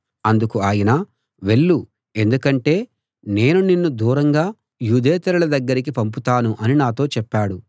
అందుకు ఆయన వెళ్ళు ఎందుకంటే నేను నిన్ను దూరంగా యూదేతరుల దగ్గరికి పంపుతాను అని నాతో చెప్పాడు